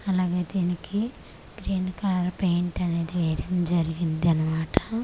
అలాగే దీనికి green colour paint అనేది వేయడం జరిగిందిగి అన్నమాట.